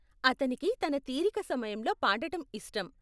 అతనికి తన తీరిక సమయంలో పాడటం ఇష్టం.